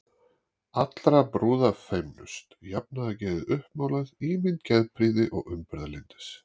allra brúða feimnust, jafnaðargeðið uppmálað, ímynd geðprýði og umburðarlyndis.